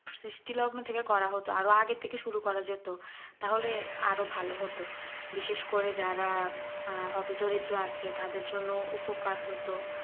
সৃষ্টি লগ্ন থেকে করা হতো আরো আগে থেকেই শুরু করা যেত তাহলে আরো ভালো হতো বিশেষ করে যারা আ হতো দরিদ্র আছে তাদের জন্য উপকার হতো